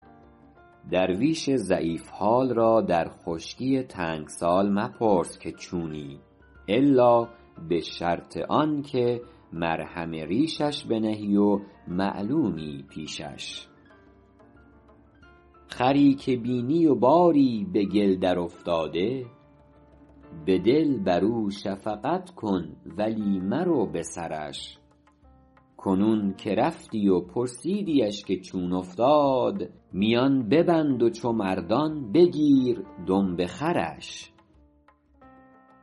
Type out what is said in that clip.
درویش ضعیف حال را در خشکی تنگ سال مپرس که چونی الا به شرط آن که مرهم ریشش بنهی و معلومی پیشش خری که بینی و باری به گل درافتاده به دل بر او شفقت کن ولی مرو به سرش کنون که رفتی و پرسیدیش که چون افتاد میان ببند و چو مردان بگیر دمب خرش